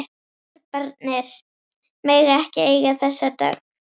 Serbarnir mega ekki eiga þessa dögg!